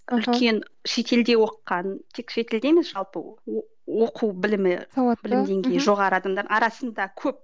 үлкен шетелде оқыған тек шетелде емес жалпы оқу білімі сауатты мхм білім деңгейі жоғары адамдар арасында көп